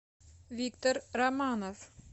виктор романов